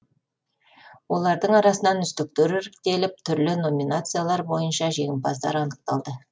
олардың арасынан үздіктер іріктеліп түрлі номинациялар бойынша жеңімпаздар анықталды